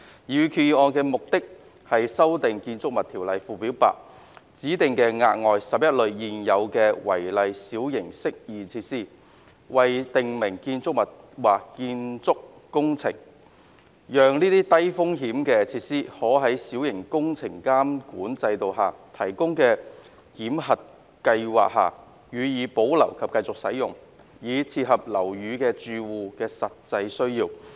擬議決議案的目的，是修訂《建築物條例》附表 8， 指定額外11類現有違例小型適意設施為訂明建築物或建築工程，讓這些較低風險的設施可在小型工程監管制度下提供的檢核計劃下予以保留及繼續使用，以切合樓宇住戶的實際需要。